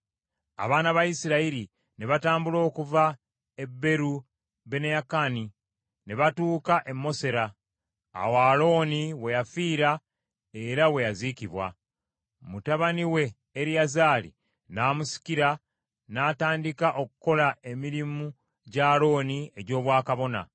Abaana ba Isirayiri ne batambula okuva e Beeru Beneyaakani ne batuuka e Mosera. Awo Alooni we yafiira era we yaziikibwa. Mutabani we Eriyazaali n’amusikira n’atandika okukola emirimu gya Alooni egy’Obwakabona.